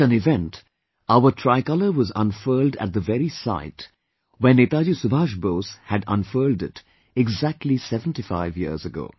At an event, our tricolour was unfurled at the very site where Netaji Subhash Bose had unfurled it exactly 75 years ago